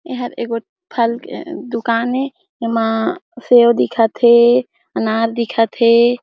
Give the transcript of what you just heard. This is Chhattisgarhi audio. एहा एगो फल के दुकान ए एमा सेव दिखत हे अनार दिखत हे।